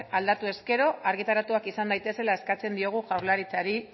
aldatu ezkero argitaratuak izan daitezela eskatzen diogu jaurlaritzari